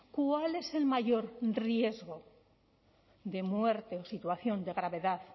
cuál es el mayor riesgo de muerte o situación de gravedad